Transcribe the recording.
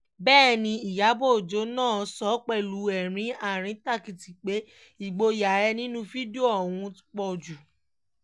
bẹ́ẹ̀ ni ìyàbọ̀ ọjọ́ náà sọ pẹ̀lú ẹ̀rín àríntàkìtì pé ìgboyà ẹ̀ nínú fídíò ọ̀hún ti pọ̀ jù